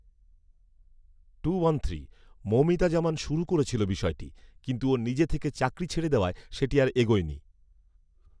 মৌমিতা জামান শুরু করেছিল বিষয়টি। কিন্তু ও নিজে থেকে চাকরি ছেড়ে দেওয়ায় সেটি আর এগোয়নি